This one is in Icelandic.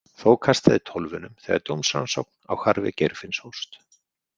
Þó kastaði tólfunum þegar dómsrannsókn á hvarfi Geirfinns hófst.